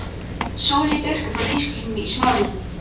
Sóleyju Björk frá tískusýningunni í Smáralind.